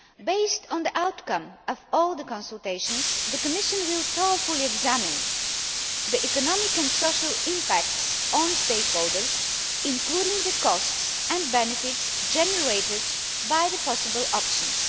Based on the outcome of all the consultations, the Commission will carefully examine the economic and social impact on stakeholders, including the costs and benefits generated by the possible options.